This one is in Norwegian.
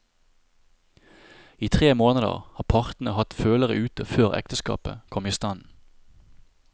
I tre måneder har partene hatt følere ute før ekteskapet kom i stand.